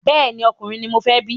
Bẹ́ẹ̀ni, ọkùnrin ni mọ fẹ́ bí